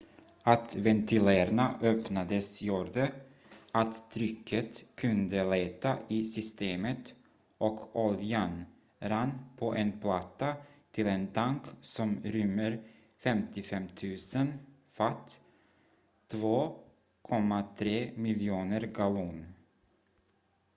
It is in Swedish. att ventilerna öppnades gjorde att trycket kunde lätta i systemet och oljan rann på en platta till en tank som rymmer 55 000 fat 2,3 miljoner gallon